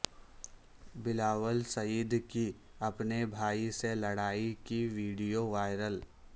بلاول سعید کی اپنےبھائی سے لڑائی کی ویڈیو وائرل